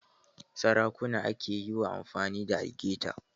Sarakuna ake yi wa amfani da algaita